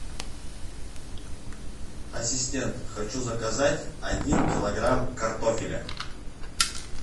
ассистент хочу заказать один килограмм картофеля